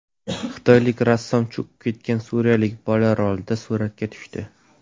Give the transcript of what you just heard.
Xitoylik rassom cho‘kib ketgan suriyalik bola rolida suratga tushdi.